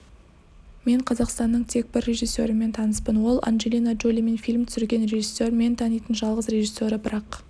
мен қазақстанның тек бір режиссерімен таныспын оланджелина джолимен фильм түсірген режиссер мен танитын жалғыз режиссеры бірақ